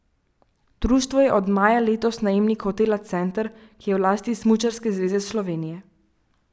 Društvo je od maja letos najemnik hotela Center, ki je v lasti Smučarske zveze Slovenije.